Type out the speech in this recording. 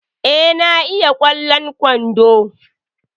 Eh, na iya kwallon kwandon